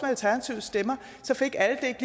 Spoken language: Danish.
alternativets stemmer så fik alle ikke